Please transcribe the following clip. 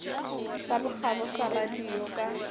sa bokgabo sa radio ka